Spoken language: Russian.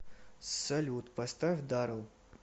салют поставь дарэл